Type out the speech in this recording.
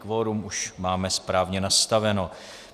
Kvorum už máme správně nastaveno.